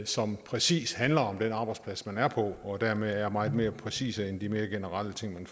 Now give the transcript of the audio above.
som præcis handler om den arbejdsplads man er på og som dermed er meget mere præcise end de mere generelle ting